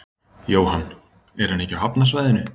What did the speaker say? Jóhann: Er hann ekki á hafnarsvæðinu?